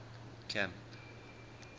camp